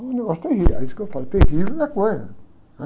Um negócio é terrível, é isso que eu falo, terrível é, né?